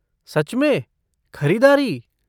सच में? खरीदारी?